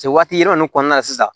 Se waati yɛlɛma nun kɔnɔna la sisan